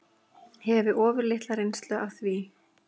Hefi ofurlitla reynslu af því.